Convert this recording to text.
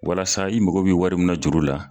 Walasa i mago bɛ wari munna juru la.